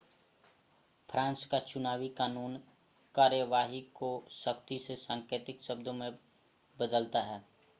France का चुनावी कानून कार्यवाही को सख्ती से सांकेतिक शब्दों में बदलता है